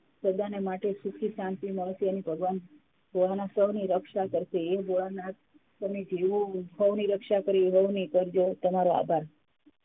સદાને માટે સુખી શાંતિ મળશે અને ભગવાન સોઉની રક્ષા કરસે એ ભોળાનાથ જેવી ની રક્ષા કરી એવી સૌની કરજો તમારો આભાર.